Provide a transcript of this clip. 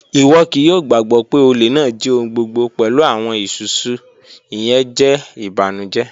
Iwọ kii yoo gbagbọ pe ole naa ji ohun gbogbo pẹlu awọn isusu, iyẹn jẹ ibanujẹ